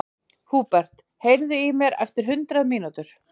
Húbert, heyrðu í mér eftir hundrað mínútur.